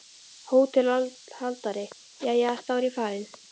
HÓTELHALDARI: Jæja, þá er ég farinn.